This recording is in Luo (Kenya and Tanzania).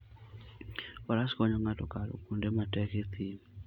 Faras konyo ng'ato kalo kuonde matek e thim.